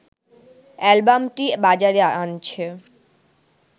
অ্যালবামটি বাজারে আনছে